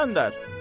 İsgəndər.